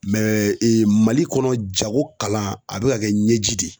Mali kɔnɔ jago kalan a be ka kɛ ɲɛji de ye.